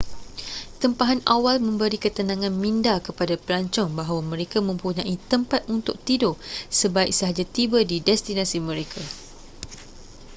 tempahan awal memberi ketenangan minda kepada pelancong bahawa mereka mempunyai tempat untuk tidur sebaik sahaja tiba di destinasi mereka